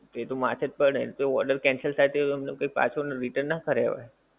એતો માથેજ પડે ને તો order cancel થાય તો તમને કેઓ પાછો return ના કરાય હોએ